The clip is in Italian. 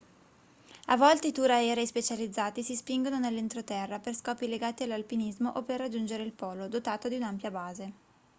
a volte i tour aerei specializzati si spingono nell'entroterra per scopi legati all'alpinismo o per raggiungere il polo dotato di un'ampia base